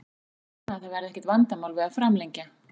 Ég vona að það verði ekkert vandamál við að framlengja.